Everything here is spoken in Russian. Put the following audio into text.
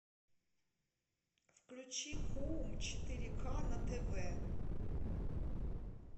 включи хоум четыре ка на тв